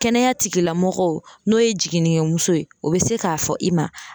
Kɛnɛya tigilamɔgɔw n'o ye jiginnikɛ muso ye, o be se ka fɔ i ma